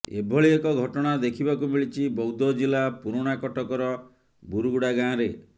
ଏଭଳି ଏକ ଘଟଣା ଦେଖିବାକୁ ମିଳିଛି ବୌଦ୍ଧ ଜିଲ୍ଳା ପୁରୁଣା କଟକର ବୁରୁଗୁଡା ଗାଁରେ